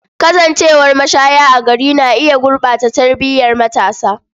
Kasancewar mashaya a gari na iya gurɓata tarbiyar matasa.